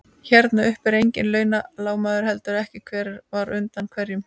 Hérna uppi eru engin launungarmál, heldur ekki hver var undan hverjum.